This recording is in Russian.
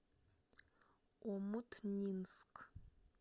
омутнинск